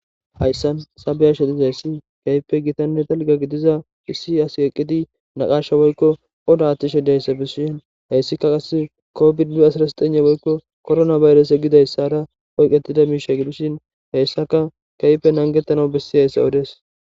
Hayisan ta be, ashe dizayisi kehippe gitanne dalga gidida issi asi eqidi naqasha woyiko oda atishe dizayisa besishin hesika qasi kovid asira zexegn woyiko korona bayirese gidayisara oyiketidayisa gidishin hesaka kehipe nagetanaw besiyayisa odes